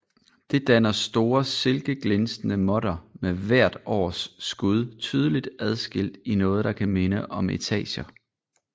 Det danner store silkeglinsende måtter med hvert års skud tydeligt adskilt i noget der kan minde om etager